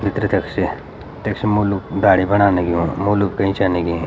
भीतर तख स्य तख सी मुलुक दाडी बनाण लग्युं मुलुक कई च लगीं।